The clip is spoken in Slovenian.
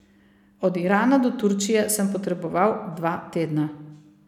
Od Irana do Turčije sem potreboval dva tedna.